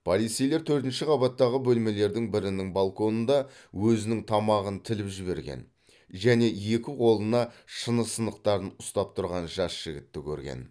полицейлер төртінші қабаттағы бөлмелердің бірінің балконында өзінің тамағын тіліп жіберген және екі қолына шыны сынықтарын ұстап тұрған жас жігітті көрген